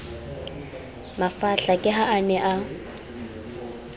mafahla ke ha a ne